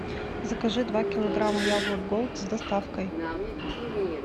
закажи два килограмма яблок голд с доставкой